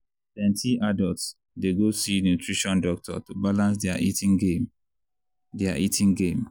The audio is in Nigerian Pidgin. plenty adults dey go see nutrition doctor to balance their eating game. their eating game.